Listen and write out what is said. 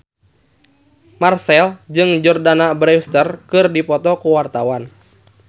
Marchell jeung Jordana Brewster keur dipoto ku wartawan